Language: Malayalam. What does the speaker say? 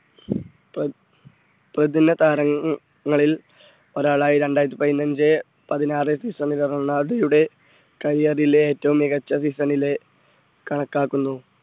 പ്രതിന താരങ്ങളിൽ ഒരാളായി രണ്ടായിരത്തി പതിനഞ്ച് പതിനാറ് season ൽ റൊണാൾഡോയുടെ career ലെഏറ്റവും മികച്ച season ലെ കണക്കാക്കുന്നു.